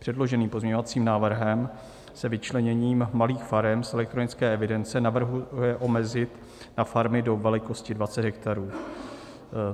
Předloženým pozměňovacím návrhem se vyčleněním malých farem z elektronické evidence navrhuje omezit na farmy do velikosti 20 hektarů.